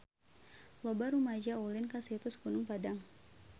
Loba rumaja ulin ka Situs Gunung Padang